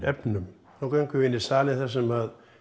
efnum nú göngum við inn í salinn þar sem